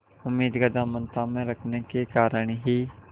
उम्मीद का दामन थामे रखने के कारण ही